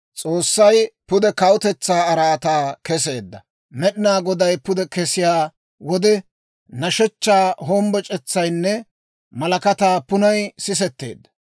S'oossay pude kawutetsaa araataa keseedda. Med'inaa Goday pude kesiyaa wode, nashshechchaa hombboc'etsaynne malakataa punnay sisetteedda.